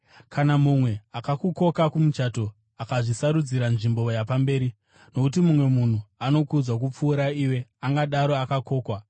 “Kana mumwe akakukoka kumuchato, usazvisarudzira nzvimbo yapamberi, nokuti mumwe munhu anokudzwa kupfuura iwe angadaro akakokwa.